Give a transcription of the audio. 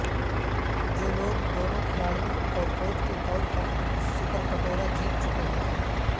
جو لوگ دونوں کھلاڑیوں اور کوچ کے طور پر سپر کٹورا جیت چکے ہیں